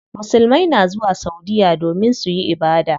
Musulmai na zuwa saudiya domin suyi ibada.